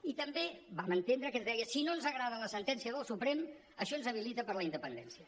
i també vam entendre que ens deia si no ens agrada la sentència del suprem això ens habilita per a la independència